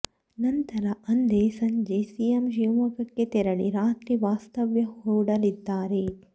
ನಂತರ ಅಂದೇ ಸಂಜೆ ಸಿಎಂ ಶಿವಮೊಗ್ಗಕ್ಕೆ ತೆರಳಿ ರಾತ್ರಿ ವಾಸ್ತವ್ಯ ಹೂಡಲಿದ್ದಾರೆ